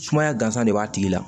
Sumaya gansan de b'a tigi la